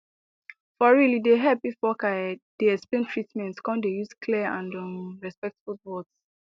for real e dey help if worker ehh dey explain treatment come dey use clear and um respectful words